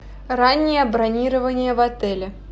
раннее бронирование в отеле